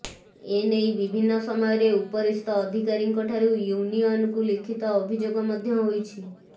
ଏ ନେଇ ବିଭିନ୍ନ ସମୟରେ ଉପରିସ୍ଥ ଅଧିକାରୀଙ୍କ ଠାରୁ ୟୁନିୟନକୁ ଲିଖିତ ଅଭିଯୋଗ ମଧ୍ୟ ହୋଇଛି